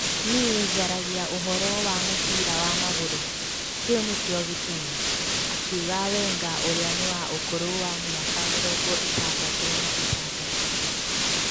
" Niĩ njaragia ũhoro wa mũbira wa magũrũ - kĩu nĩkĩo gĩtũmi" , akiuga Wenga ũrĩa nĩ wa ũkũrũ wa mĩaka mĩrongo-ĩtandatũ na ĩtandatũ.